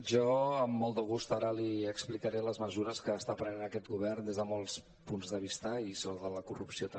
jo amb molt de gust ara li explicaré les mesures que està prenent aquest govern des de molts punts de vista i sobre la corrupció també